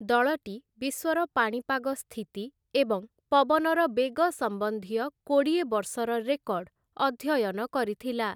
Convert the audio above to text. ଦଳଟି ବିଶ୍ଵର ପାଣିପାଗ ସ୍ଥିତି ଏବଂ ପବନର ବେଗ ସମ୍ବନ୍ଧୀୟ କୋଡ଼ିଏ ବର୍ଷର ରେକର୍ଡ଼ ଅଧ୍ୟୟନ କରିଥିଲା ।